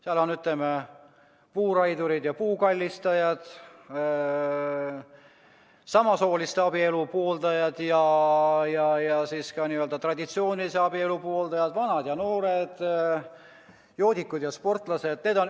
Seal on, ütleme, puuraidurid ja puukallistajad, samasooliste abielu pooldajad ja ka n‑ö traditsioonilise abielu pooldajad, vanad ja noored, joodikud ja sportlased.